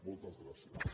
moltes gràcies